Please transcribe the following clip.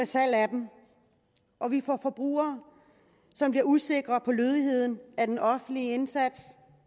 salg af dem og vi har forbrugere som bliver usikre på lødigheden af den offentlige instans